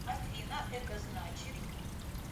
афина это значит